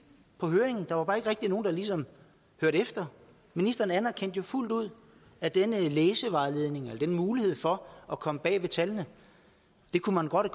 på høringen der var bare ikke nogen der ligesom hørte efter ministeren anerkendte jo fuldt ud at denne læsevejledning eller den mulighed for at komme bag ved tallene kunne man godt